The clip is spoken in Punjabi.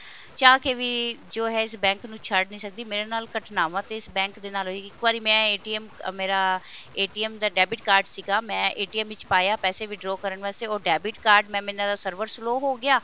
ਚਾਹ ਕੇ ਵੀ ਜੋ ਹੈ ਇਸ bank ਨੂੰ ਛੱਡ ਨਹੀਂ ਸਕਦੀ ਮੇਰੇ ਨਾਲ ਘਟਨਾਵਾਂ ਤੇ ਇਸ bank ਦੇ ਨਾਲ ਇੱਕ ਵਾਰੀ ਮੈਂ ਮੇਰਾ ਦਾ debit card ਸੀਗਾ ਮੈਂ ਵਿੱਚ ਪਾਇਆ ਪੈਸੇ withdraw ਕਰਨ ਵਾਸਤੇ ਤੇ ਉਹ debit card mam ਇਹਨਾ ਦਾ server slow ਹੋ ਗਿਆ